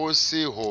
ho se ho